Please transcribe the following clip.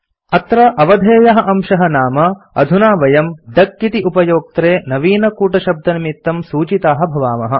अत्र अवधेयः अंशः नाम अधुना वयम् डक इति उपयोक्त्रे नवीनकूटशब्दनिमित्तं सूचिताः भवामः